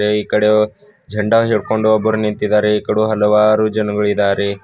ಈ ಕಡೆ ಜಂಡ ಹಿಡ್ಕೊಂಡು ಒಬ್ರು ನಿಂತಿದ್ದಾರೆ ಆ ಕಡೆ ಹಲವಾರು ಜನಗುಳಿದರೆ.